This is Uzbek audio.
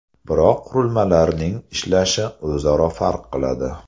Biroq qurilmalarning ishlashi o‘zaro farq qiladi.